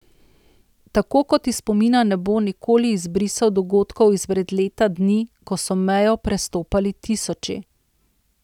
Tako kot iz spomina ne bo nikoli izbrisal dogodkov izpred leta dni, ko so mejo prestopali tisoči.